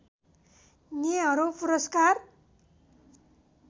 नेहरू पुरस्कार